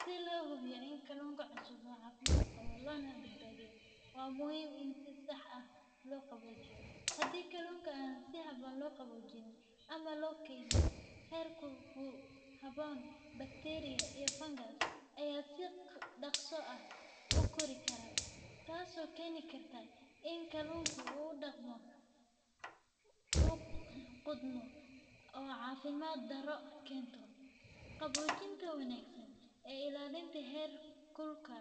Si loo hubiyo in kalluunka cusub uu caafimaad qabo lana badbaadiyo, waa muhiim in si sax ah loo qaboojiyo. Haddii kalluunka aan si habboon loo qaboojin ama loo keydin heerkul ku habboon, bakteeriyo iyo fangas ayaa si dhaqso ah u kori kara, taasoo keeni karta in kalluunka uu qudhmo oo caafimaad darro keento. Qaboojinta wanaagsan iyo ilaalinta heerkulka